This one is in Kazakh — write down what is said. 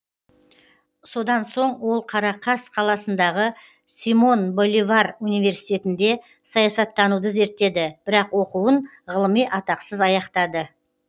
содан соң ол қарақас қаласындағы симон боливар университетінде саясаттануды зерттеді бірақ оқуын ғылыми атақсыз аяқтады